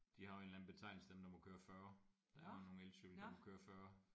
De har jo en eller anden betegnelse dem der må køre 40 der er jo nogle elcykler der må køre 40